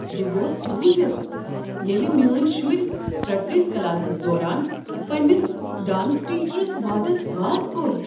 بہٕ گوس روزتھ ییٚلہ میٲنۍ شُرۍ پرٛکٹس کلاسس دوران پننس ڈانس ٹیچرس وادس واد کوٚر۔